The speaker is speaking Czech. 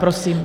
Prosím.